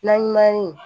Na ɲuman ye